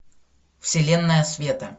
вселенная света